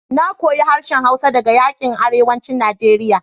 Na koyi harshen hausa daga yankin arewacin Najeriya